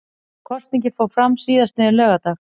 Kosningin fór fram síðastliðinn laugardag